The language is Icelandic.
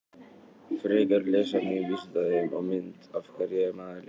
Frekara lesefni á Vísindavefnum og mynd Af hverju er maður lesblindur?